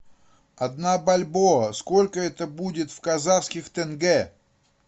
одна бальбоа сколько это будет в казахских тенге